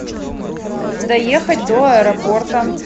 доехать до аэропорта